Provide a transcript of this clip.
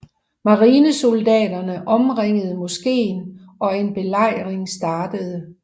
Marinesoldaterne omringede moskeen og en belejring startede